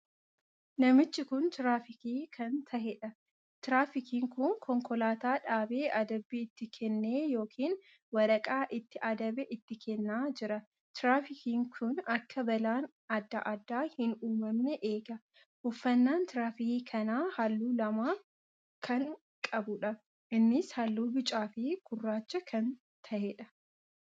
Namichi kun tiraafikii kan taheedha. tiraafikiin kun konkolaataa dhaabee adabbii itti kennee ykn waraqaa ittii adabe itti kennaa jira. tiraafikiin kun akka balaan addaa addaa hin uumamne eega. uffanaan tiraafikii kanaa halluu lamaan kan qabuudha. innis halluu bicaa fi gurraacha kan taheedha.